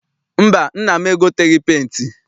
Mba, nna m egoteghị penti.